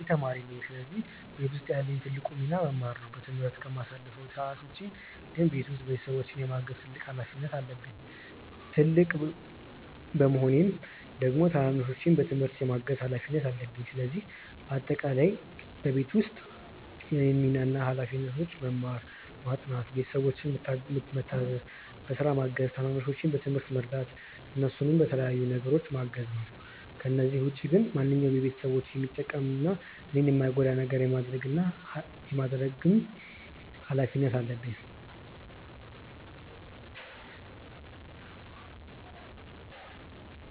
እኔ ተማሪ ነኝ ስለዚህ ቤት ውስጥ ያለኝ ትልቁ ሚና መማር ነው። በትምህርት ከማሳልፈው ሰዓት ውጪ ግን ቤት ውስጥ ቤተሰቦቼን የማገዝ ትልቅ ሀላፊነት አለብኝ። ትልቅ በመሆኔም ደግሞ ታናናሾቼን በትምህርታቸው የማገዝ ሀላፊነት አለብኝ። ስለዚህ በአጠቃላይ በቤት ውስጥ የእኔ ሚና እና ሀላፊነቶች መማር፣ ማጥናት፣ ቤተሰቦቼን ምታዘዝ፣ በስራ ማገዝ፣ ታናናሾቼን በትምህርታቸው መርዳት፣ እነሱን በተለያዩ ነገሮች ማገዝ ናቸው። ከነዚህ ውጪ ግን ማንኛውንም ቤተሰቦቼን የሚጠቅም እና እኔን የማይጎዳ ነገር የማድረግ ምን እና ሀላፊነት አለብኝ።